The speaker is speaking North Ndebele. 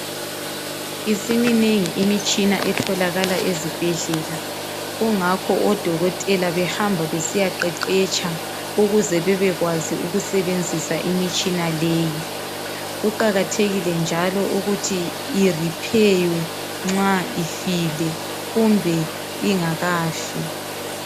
Isiminengi imitshina etholakala ezibhedlela kungakho odokotela behamba besiya qeqetsha ukuze bebekwazi ukusebenzisa imitshina leyi. Kuqakathekile njalo ukuthi irepheywe nxa ifile kumbe ingakafi.